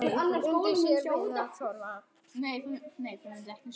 Undi sér við að horfa.